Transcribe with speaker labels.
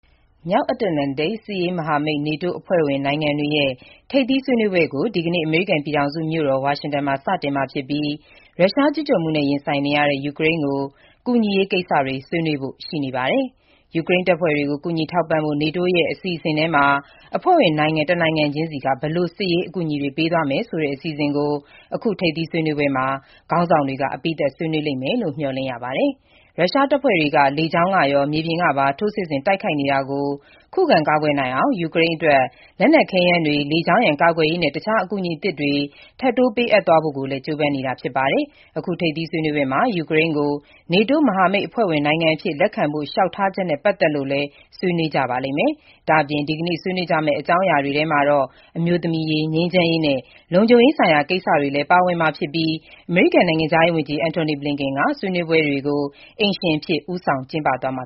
Speaker 1: မြောက်အတ္တလန္တိတ် စစ်ရေးမဟာမိတ် NATO အဖွဲ့ဝင်နိုင်ငံတွေရဲ့ ထိပ်သီး ဆွေးနွေးပွဲကို ဒီကနေ့ အမေရိကန် ပြည်ထောင်စု မြို့တော် ဝါရှင်တန်မှာ စတင်မှာဖြစ်ပြီး ရုရှားကျူးကျော်မှုနဲ့ ရင်ဆိုင်နေတဲ့ရတဲ့ ယူကရိန်းကို ကူညီရေးကိစ္စ အဓိက ဆွေးနွေးကြဖို့ ရှိနေပါတယ်။ ယူကရိန်းတပ်ဖွဲ့တွေကို ကူညီထောက်ပံ့ဖို့ NATO အဖွဲ့ရဲ့ အစီအစဥ်ထဲမှာ အဖွဲ့ဝင် နိုင်ငံ တနိုင်ငံချင်းစီက ဘယ်လို စစ်ရေး အကူအညီတွေ ပေးသွားမယ်ဆိုတဲ့ အစီအစဥ်ကို အခုထိပ်သီး ဆွေးနွေးပွဲမှာ NATO ခေါင်းဆောင်တွေ အပြီးသတ် ဆွေးနွေးကြလိမ့်မယ်လို့ မျှော်လင့်ရပါတယ်။ ရုရှားတပ်ဖွဲ့တွေက လေကြောင်းကရော၊ မြေပြင်ကပါ ထိုးစစ်ဆင် တိုက်ခိုက်နေတာကို ခုခံကာကွယ်နိုင်အောင် ယူကရိန်းအတွက် လက်နက်ခဲယမ်းတွေ၊ လေကြောင်းရန် ကာကွယ်ရေး နဲ့ တခြား အကူအညီသစ်တွေ ထပ်တိုး ပေးအပ်သွားဖို့ ကြိုးပမ်းနေတာ ဖြစ်ပါတယ်။ အခု ထိပ်သီး ဆွေးနွေးပွဲမှာ ယူကရိန်းကို NATO မဟာမိတ် အဖွဲ့ဝင်နိုင်ငံအဖြစ် လက်ခံဖို့ လျှောက်ထားချက်နဲ့ ပတ်သက်လို့လည်း ဆွေးနွေးကြပါလိမ့်မယ်။ ဒါ့အပြင် ဒီကနေ့ ဆွေးနွေးကြမယ့် အကြောင်းအရာတွေ ထဲမှာတော့ အမျိုးသမီးရေး၊ ငြိမ်းချမ်းရေးနဲ့ လုံခြုံရေးဆိုင်ရာ ကိစ္စတွေလည်း ပါဝင်မှာဖြစ်ပြီး အမေရိကန် နိုင်ငံခြားရေးဝန်ကြီး Antony Blinken က ဆွေးနွေးပွဲတွေကို အိမ်ရှင်အဖြစ် ဦးဆောင် ကျင်းပသွားမှ